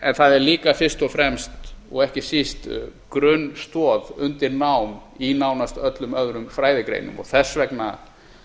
en það er líka fyrst og fremst og ekki síst grunnstoð undir nám í nánast öllum öðrum fræðigreinum þess vegna